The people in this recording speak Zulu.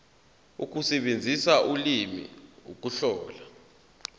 ukusebenzisa ulimi ukuhlola